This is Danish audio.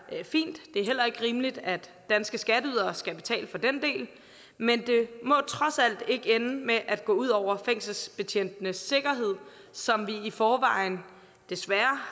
fint det er heller ikke rimeligt at danske skatteydere skal betale for den del men det må trods alt ikke ende med at gå ud over fængselsbetjentenes sikkerhed som vi i forvejen desværre